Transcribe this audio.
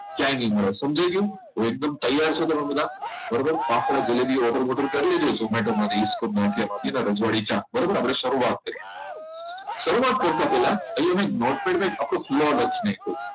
ક્યાંય નહિ મળે સમજાઈ ગયું તો એકદમ તૈયાર છો તમે બધા બરોબર તો આખો જલેબી order બોડર કરી કરી દેશો જોમેટો માંથી રજવાડી ચા બરાબર આપણે શરૂઆત કરીએ શરૂઆત કરતા પહેલા અહીંયા મેં notepad પર આખું